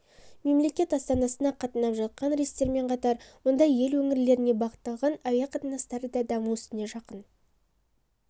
мемлекет астанасына қатынап жатқан рейстермен қатар мұнда ел өңірлеріне бағытталған әуе қатынастары да даму үстінде жақын